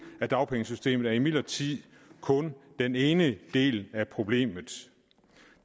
af dagpengesystemet er imidlertid kun den ene del af problemet